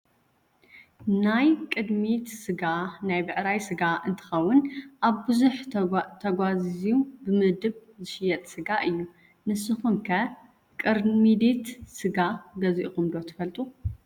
ናይ ቅርሚዲት ስጋ ናይ ብዕራይ ስጋ እንትከውን ኣብ ብዙሕ ተጓዛዝዩ ብምድብ ዝሽየጥ ስጋ እዩ። ንስኩም ከ ቅርሚዲት ስጋ ገዚኢኩም ዶ ትፈልጡ?